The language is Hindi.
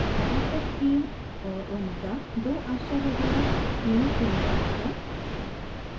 adaptive theme और omega 2 आश्चर्यजनक theme frameworks हैं